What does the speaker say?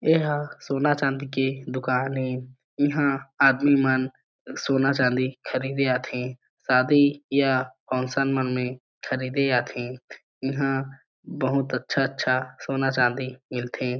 एहा सोना चांदी के दुकान ए इ हा आदमी मन सोना चांदी खरीदे आथे शादी या फंक्शन मन में ख़रीदे आथे इ हा बहुत अच्छा-अच्छा सोना चांदी मिलथे ।